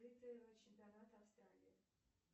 чемпионата австралии